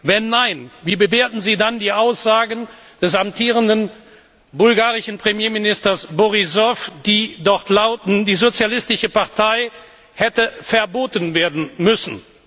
Wenn nein, wie bewerten Sie dann die Aussagen des amtierenden bulgarischen Premierministers Borissow, die lauten, die Sozialistische Partei hätte verboten werden müssen?